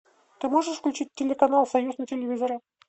ты можешь включить телеканал союз на телевизоре